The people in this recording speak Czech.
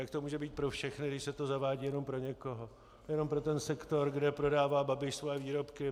Jak to může být pro všechny, když se to zavádí jenom pro někoho, jenom pro ten sektor, kde prodává Babiš svoje výrobky?